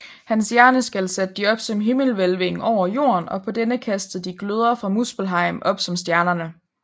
Hans hjerneskal satte de op som himmelhvælvingen over jorden og på denne kastede de gløder fra Muspelheim op som stjernerne